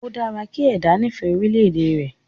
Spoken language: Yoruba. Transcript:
O dára kí ẹ̀dá nifẹ orílẹ̀ èdè rẹ̀